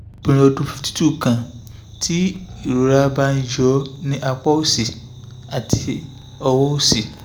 obìnrin ọdún fifty two kan tí ìrora bá ń yọ̀ ní apá òsì àti ọwọ́ òsì